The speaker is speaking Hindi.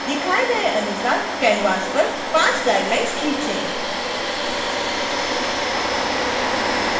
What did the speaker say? दिखाए गए अनुसार कैनवास पर पांच guidelines खींचें